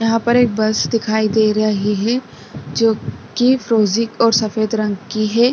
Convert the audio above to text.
यहाँ पर एक बस दिखाई दे रही हे जो कि फरोजी और सफेद रंग की है।